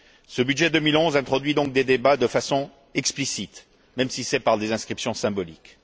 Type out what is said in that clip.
Ce budget 2011 introduit donc des débats de façon explicite, même si c'est par des inscriptions symboliques.